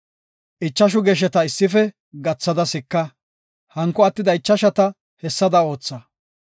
Ichashu gesheta issife gathada sika; hanko attida ichashata hessada ootha.